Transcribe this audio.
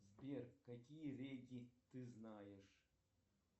сбер какие реки ты знаешь